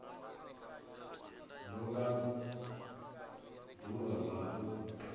do vha ḓuvha la u